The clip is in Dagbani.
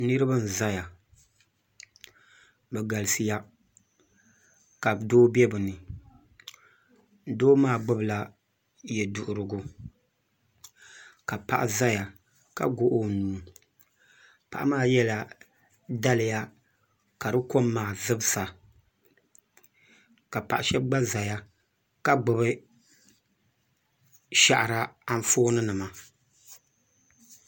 Niraba n ʒɛya bi galisiya ka doo bɛ bi ni doo maa gbubila yɛduɣurigu ka paɣa ʒɛya ka goɣi o nuu paɣa maa yɛla daliya ka di kom maa zibsa ka paɣa shab gba ʒɛya ka gbubi shahara Anfooni nima